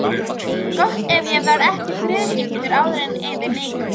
Gott ef ég verð ekki þrígiftur áður en yfir lýkur.